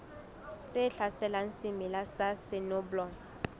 tse hlaselang semela sa soneblomo